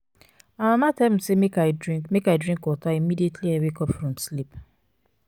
my mama tell me say make i drink make i drink water immediately i wake up from sleep.